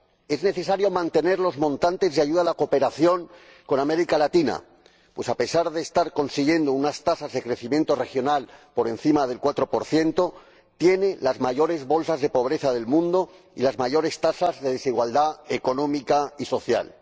Es necesario mantener los importes de la ayuda a la cooperación con América Latina pues, a pesar de estar consiguiendo unas tasas de crecimiento regional superiores al 4 tiene las mayores bolsas de pobreza del mundo y las mayores tasas de desigualdad económica y social.